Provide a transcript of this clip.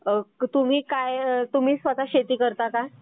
तुम्ही स्वतः शेती करता का?